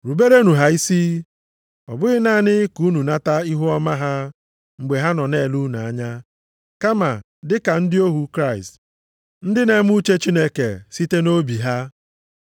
Ruberenụ ha isi, ọ bụghị naanị ka unu nata ihuọma ha mgbe ha nọ na-ele unu anya, kama dị ka ndị ohu Kraịst, ndị na-eme uche Chineke site nʼobi ha.